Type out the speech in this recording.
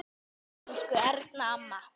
Elsku Erna amma.